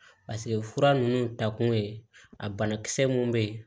fura ninnu ta kun ye a banakisɛ mun be yen